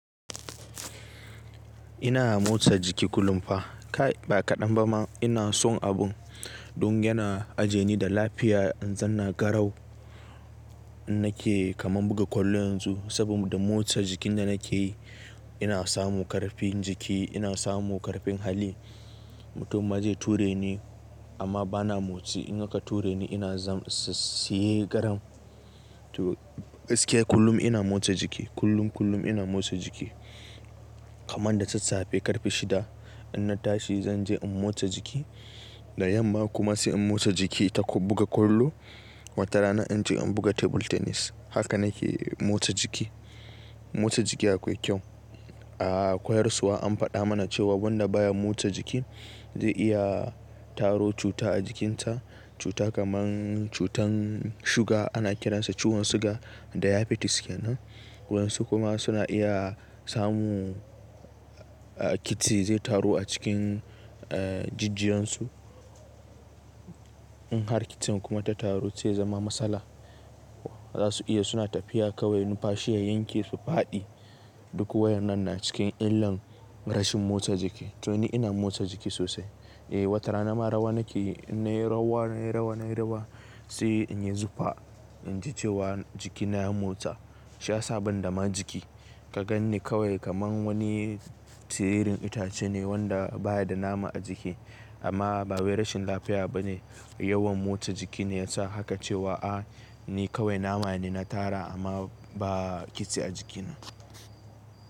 Ina motsa jiki kullum fa. Kai, ba kaɗan ba ma ina son abun. Dun yana aje ni da lafiya, in zan na garau. Nake kaman buga kwallo yanzu, saboda motsa jikin da nake yi, ina samu ƙarfin jiki, ina samu ƙarfin hali. Mutum ma zai ture ni amma bana motsi. In aka ture ni ina zan, siye garam. To, gaskiya kullum ina motsa jiki. Kullum, kullum ina motsa jiki. Kaman da sassafe, ƙarfe shida in na tashi zan je in motsa jiki, Da yamma kuma sai in motsa jiki ta buga kwallo. Wata rana in je in buga table tennis. Haka nake motsa jiki. Motsa jiki akwai kyau, A koyarswa an faɗa mana cewa wanda baya motsa jiki, zai iya taro cuta a jikinsa. Cuta kaman cutan suga ana kiransa ciwon suga, diabetes kenan. Waƴansu kuma suna iya samu kitse zai taru a cikin jijjiyansu. In har kitsin kuma ta taru zai zama matsala. Za su iya suna tafiya kawai, numfashi ya yanke su faɗi. Duk waƴannan na cikin illan rashin motsa jiki. To ni ina motsa jiki sosai. Eh, wata rana ma rawa nake yi. In nayi rawa, nayi rawa, nayi rawa sai in yi zufa in ji cewa jikina ya motsa. Shi ya sa ban dama jiki. Ka gan ni kawai kaman wani siririn itace ne wanda baya da nama a jiki. Amma ba wai rashin lafiya ba ne, Yawan motsa jiki ne yasa haka cewa, ah, ni kawai nama ne na tara amma ba kitse a jikina.